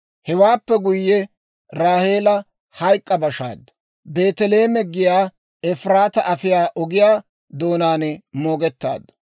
Hewaappe guyye, Raaheela hayk'k'a bashaaddu; Beeteleeme giyaa Efiraataa afiyaa ogiyaa doonaan moogettaaddu.